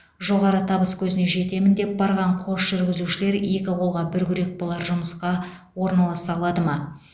жоғары табыскөзіне жетемін деп барған қос жүргізушілер екі қолға бір күрек болар жұмысқа орналаса алады ма